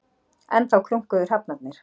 Enn þá krunkuðu hrafnarnir.